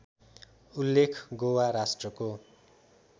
उल्लेख गोवा राष्ट्रको